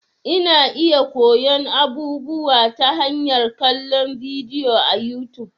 Ina iya koyon abubuwa ta hanyar kallon bidiyo a YouTube.